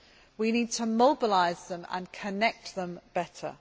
We need to mobilise and connect them better.